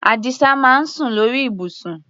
Àdìsá máa ń sùn lórí ibùsùn.